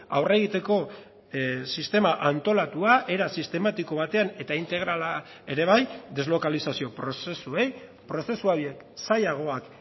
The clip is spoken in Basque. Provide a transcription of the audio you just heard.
aurre egiteko sistema antolatua era sistematiko batean eta integrala ere bai deslokalizazio prozesuei prozesu horiek zailagoak